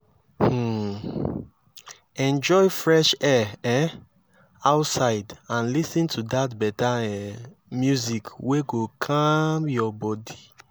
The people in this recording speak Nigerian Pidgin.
um enjoy fresh air um outside and lis ten to beta um music wey go calm yur body